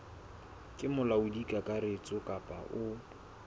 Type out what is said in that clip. ke molaodi kakaretso kapa o